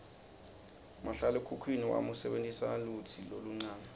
mahlalekhukhwini wami usebentisa lutsi loluncane